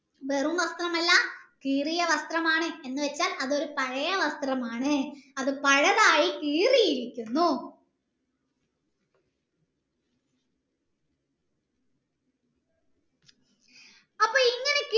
വെറും വസ്ത്രംമാള്ള കീറിയ വസ്ത്രമാണ് എന്ന് വെച്ചാൽ അതൊരു പഴയെ വസ്ത്രമാണ് അത് പഴയതാണ് കീറിയിരിക്കുന്നു അപ്പൊ ഇങ്ങനെ